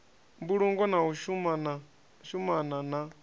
mbulungo na u shumana na